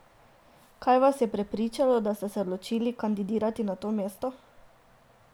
Kaj vas je prepričalo, da ste se odločili kandidirati na to mesto?